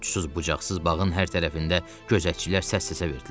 Uçsuz-bucaqsız bağın hər tərəfində gözətçilər səs-səsə verdilər.